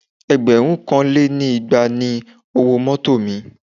Ẹgbẹ̀rún kan lé ní igba ni owó mọ́tọ̀ mi.